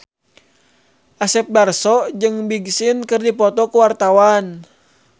Asep Darso jeung Big Sean keur dipoto ku wartawan